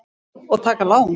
Og taka lán.